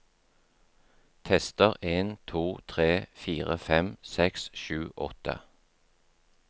Tester en to tre fire fem seks sju åtte